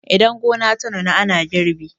idan gona ta nuna ana girbi